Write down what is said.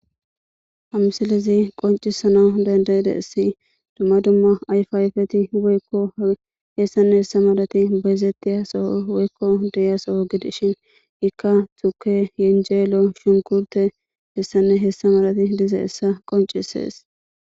Ha misilezi qoncisizaysi dandayadisi duma duma ayfa ayfeti woykon bayizetiza so gidishin ikka tuke yenjeloyshunkirte h.h.malati dizaysa qoncisise